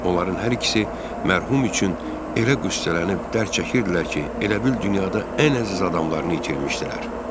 Onların hər ikisi mərhum üçün elə qüssələnib dərd çəkirdilər ki, elə bil dünyada ən əziz adamlarını itirmişdilər.